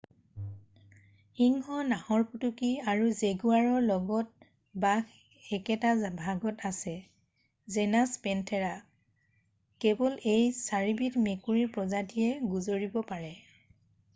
সিংহ নাহৰফুটুকী আৰু জেগুৱাৰৰ লগত বাঘ একেটা ভাগত আছে জেনাচ পেনথেৰা। কেৱল এই 4বিধ মেকুৰীৰ প্ৰজাতিয়ে গোজৰিব পাৰে।